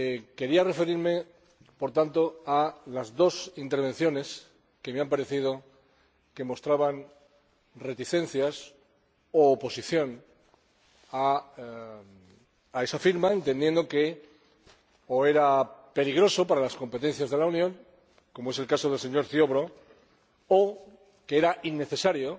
Quería referirme a las dos intervenciones que me han parecido que mostraban reticencias u oposición a esa firma, entendiendo que o era peligrosa para las competencias de la Unión, como es el caso del señor Ziobro, o que era innecesaria,